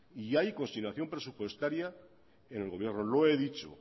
y hay consignación presupuestaria en el gobierno lo he dicho